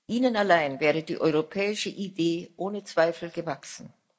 Ihnen allein wäre die europäische Idee ohne Zweifel gewachsen.